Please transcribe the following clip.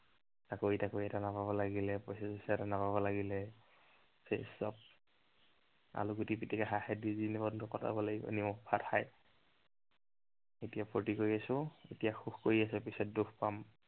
চাকৰি তাকৰি এটা নাপাব লাগিলে, পইচা চইচা একো নাপাব লাগিলে। তাৰপিছত আলু গুটি পিটিকা খাই খাই জীৱনটো কটাব লাগিব নিমখ ভাত খাই। এতিয়া ফুৰ্তি কৰি আছো, পিছত দুখ পাম